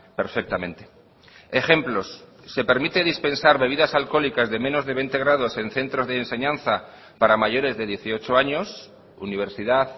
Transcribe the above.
perfectamente ejemplos se permite dispensar bebidas alcohólicas de menos de veinte grados en centros de enseñanza para mayores de dieciocho años universidad